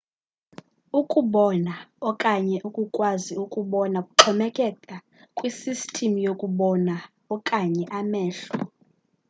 ukubona okanye ukukwazi ukubona kuxhomekeka kwisisystem yokubona okanye amehlo